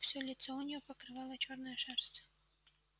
все лицо у нее покрывала чёрная шерсть